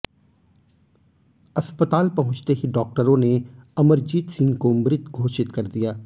अस्पताल पहुंचते ही डॉक्टरों ने अमरजीत सिंह को मृत घोषित कर दिया